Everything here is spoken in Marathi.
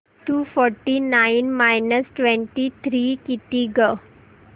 to forty nine minus twenty three किती गं